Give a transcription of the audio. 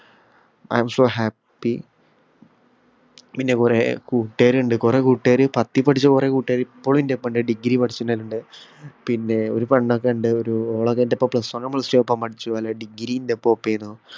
i am so happy പിന്നെ കൊറേ കൂട്ടുകാരുണ്ട് കൊറേ കൂട്ടുകാര് പത്തീ പഠിച്ച കൊറേ കൂട്ടുകാര് ഇപ്പളും എന്റെ ഒപ്പോം ഇണ്ട് degree പഠിച്ചുന്നവരിണ്ട് പിന്നെ ഒരു പെണ്ണൊക്കെ ഇണ്ട് ഒരു ഓള് അത് എന്ടോപ്പോം plus one ഉം plus two ഉം ഒപ്പോം പഠിച്ചു എല്ലേ degree എന്റൊപ്പം ഒക്കേനു